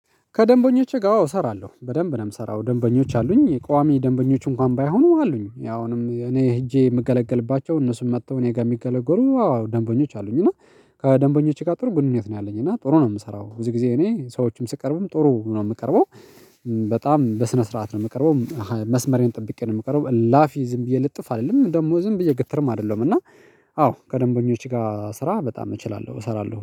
ከደንበኞቼ ጋር እሰራለሁ በደንብ ነው የምሰራው ደንበኞች አሉኝ ቋሚ ደንበኞች እንኳን ባይሆኑ አሉኝ ያው እኔ ሄጄ የምገለግልባቸው እነሱን መጥተው እኔ ጋር የሚገለግሉ አዎ ደንበኞች አሉኝ። እና ከደንበኞች ጋር ጥሩ ግንኙነት ነው ያለኝ እና ጥሩ ነው የምሰራው ብዙ ጊዜ እኔ ሰዎችም ስቀርብም ጥሩ ነው የምቀርበው። በጣም በስነ ስርዓት ነው የምቀርበው መስመሬን ጠብቄ ነው የምቀርበው እላፍ ዝም ብዬ ልጥፍ አልልም ደግሞ ዝም ብዬ ግትርም አይደለም እና። አዎ ከደንበኞች ጋር ስራ በጣም እችላለሁ እሰራለሁ።